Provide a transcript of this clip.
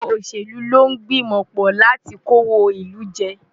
Ọ̀pọ̀ òṣèlú ló ń gbìmọ̀ pọ̀ láti kówó ìlú jẹ.